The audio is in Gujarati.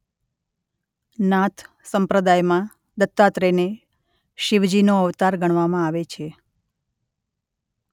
નાથ સંપ્રદાયમાં દત્તાત્રયને શિવજીનો અવતાર ગણવામાં આવે છે.